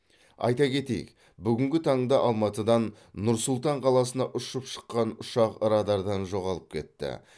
айта кетейік бүгінгі таңда алматыдан нұр сұлтан қаласына ұшып шыққан ұшақ радардан жоғалып кетті